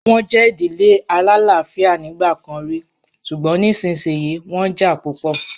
Wọ́n jẹ́ ìdílé alálàáfíà nígbà kan rí, ṣùgbọ́n nísinsìnyí wọ́n jà púpọ̀.